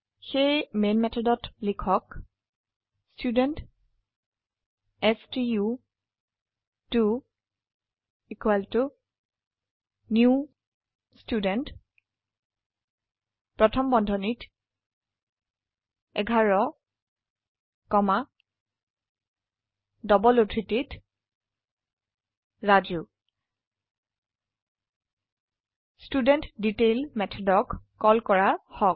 সেয়েমেন মেথডত লিখক ষ্টুডেণ্ট ষ্টু2 নিউ ষ্টুডেণ্ট প্ৰথম বন্ধনীত 11 কমা ডাবল উদ্ধৃতিতRaju ষ্টুডেণ্টডিটেইল মেথডক কল কৰা হক